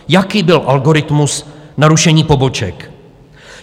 Jaký byl algoritmus na rušení poboček?